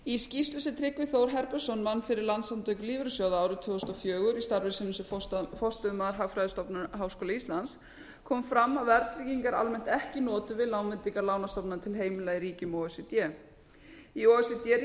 í skýrslu sem tryggvi þór herbertsson vann fyrri landssamtök lífeyrissjóða árið tvö þúsund og fjögur í starfi sínu sem forstöðumaður hagfræðistofnunar háskóla íslands kom fram að verðtrygging er almennt ekki notuð við lánveitingar lánastofnana til heimila í ríkjum o e c d í o e c d